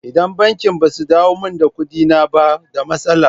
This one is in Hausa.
Idan bankin ba su dawo mani da kuɗina ba da matsala.